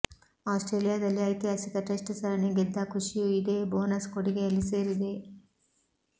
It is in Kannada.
ಆಸ್ಟ್ರೇಲಿಯಾದಲ್ಲಿ ಐತಿಹಾಸಿಕ ಟೆಸ್ಟ್ ಸರಣಿ ಗೆದ್ದ ಖುಷಿಯೂ ಇದೇ ಬೋನಸ್ ಕೊಡುಗೆಯಲ್ಲಿ ಸೇರಿದೆ